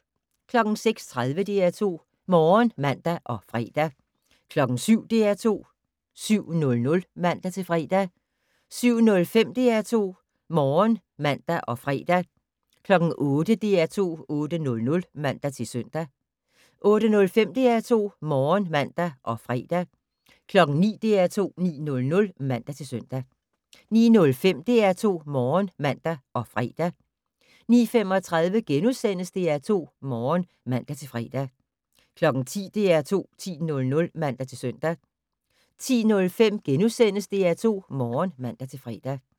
06:30: DR2 Morgen (man og fre) 07:00: DR2 7:00 (man-fre) 07:05: DR2 Morgen (man og fre) 08:00: DR2 8:00 (man-søn) 08:05: DR2 Morgen (man og fre) 09:00: DR2 9:00 (man-søn) 09:05: DR2 Morgen (man og fre) 09:35: DR2 Morgen *(man-fre) 10:00: DR2 10:00 (man-søn) 10:05: DR2 Morgen *(man-fre)